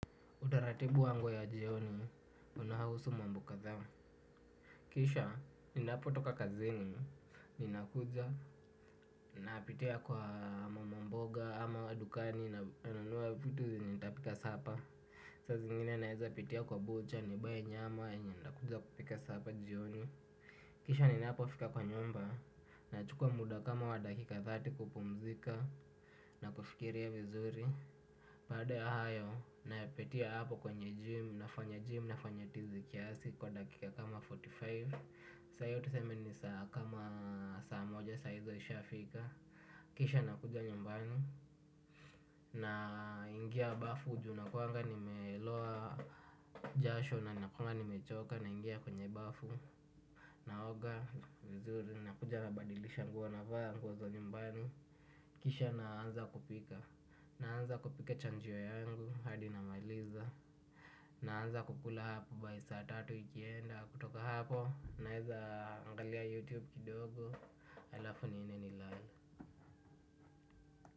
Utaratibu wangu ya jioni, unahusu mambo kadhaa. Kisha, ninapo toka kazini, ninakuja, napitia kwa mamamboga, ama dukani, nanunua vitu zitapika sapa. Saa zingine naeza pitia kwa buchari, nibai nyama, yenye ndakuja kupika sapa jioni. Kisha ninapo fika kwa nyumba, na chukua muda kama wadakika thati kupumzika, na kufikiria vizuri. Baada ya hayo napitia hapo kwenye gym nafanya gym nafanya tizi kiasi kwa dakika kama arobaini na tano. Saa hiyo tuseme ni saa kama saa moja saa hizo isha fika. Kisha nakuja nyumbani na ingia bafu ujue nakuwanga nimeloa jasho na nakuanga nimechoka naingia kwenye bafu. Naoga vizuri nakuja nabadilisha nguo navaa nguo za nyumbani. Kisha naanza kupika. Naanza kupika chajio yangu. Hadi namaliza. Naanza kukula hapo By saa tatu ikienda. Kutoka hapo naeza angalia youtube kidogo. Alafu niende nilale.